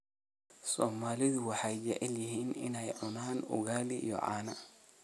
Soomaalidu waxay jecel yihiin inay cunaan ugaali iyo caano